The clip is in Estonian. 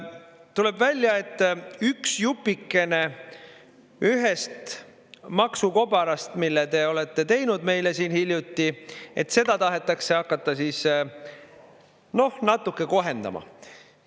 Tuleb välja, et üks jupikene ühest maksukobarast, mille te olete teinud meile siin hiljuti, et seda tahetakse hakata siis, noh, natuke kohendama.